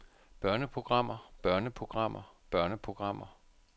børneprogrammer børneprogrammer børneprogrammer